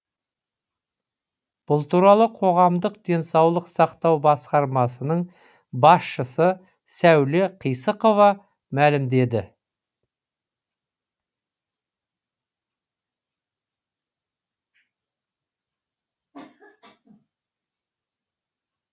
бұл туралы қоғамдық денсаулық сақтау басқармасының басшысы сәуле қисықова мәлімдеді